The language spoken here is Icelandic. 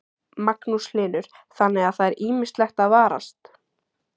Magnús Hlynur: Þannig að það er ýmislegt að varast?